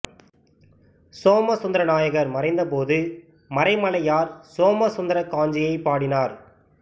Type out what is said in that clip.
சோமசுந்தர நாயகர் மறைந்தபோது மறைமலையார் சோமசுந்தரக் காஞ்சி யைப் பாடினார்